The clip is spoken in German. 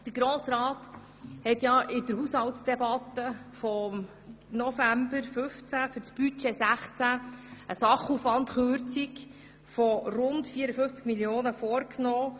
Der Grosse Rat hat in der Haushaltsdebatte im November 2015 für das Budget 2016 eine Sachaufwandkürzung von rund 54 Mio. Franken beschlossen.